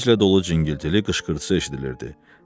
Sevinclə dolu cıngıltılı qışqırtısı eşidilirdi.